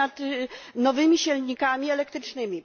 nad nowymi silnikami elektrycznymi.